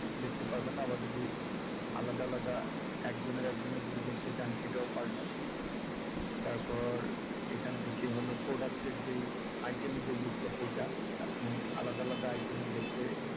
দেখতে পারবেন আবার যদি আলাদা আলাদা একজনের একজনের যদি দেখতে চান সেটাও পারবেন তারপর এখান থেকে হল product টের যেই item এর যে list টা সেইটা আপনি আলাদা আলাদা item এর দেখতে